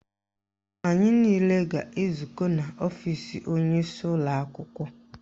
Anyị niile ga-ezukọ n'ọfisi onyeisi ụlọakwụkwọ